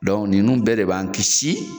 Dɔnku ninnu bɛɛ de b'an kisi